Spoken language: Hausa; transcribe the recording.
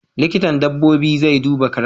Likitan dabbobin zai duba karen.